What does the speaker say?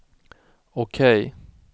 OK